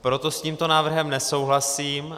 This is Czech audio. Proto s tímto návrhem nesouhlasím.